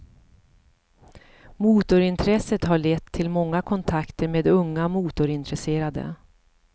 Motorintresset har lett till många kontakter med unga motorintresserade.